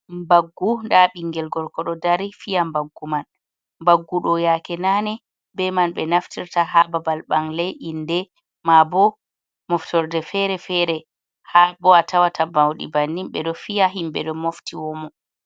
Mbaggu nda bingel gorko ɗo dari fiya mbaggu man. Mbaggu ɗo, yaake nane be man be naftirta ha babal bangle, inde, ma bo moftorde fere-fere ha bo a tawata bauɗi bannin ɓe ɗo fiya. Himɓe ɗo mofti womo.